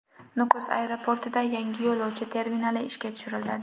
Nukus aeroportida yangi yo‘lovchi terminali ishga tushiriladi.